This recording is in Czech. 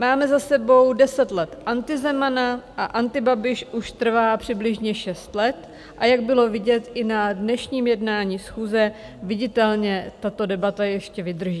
Máme za sebou deset let Antizemana a Antibabiš už trvá přibližně šest let, a jak bylo vidět i na dnešním jednání schůze, viditelně tato debata ještě vydrží.